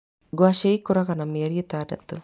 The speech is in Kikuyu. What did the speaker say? Ngwacĩ ĩkũraga na mĩeri ĩtandatũ.